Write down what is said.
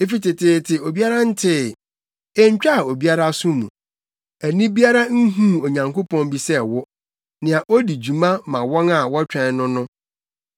Efi teteete obiara ntee, entwaa obiara aso mu, ani biara nhuu Onyankopɔn bi sɛ wo, nea odi dwuma ma wɔn a wɔtwɛn no no.